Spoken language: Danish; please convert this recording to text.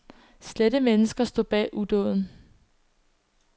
Slette mennesker stod bag udåden.